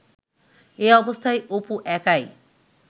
এ অবস্থায় অপু একাই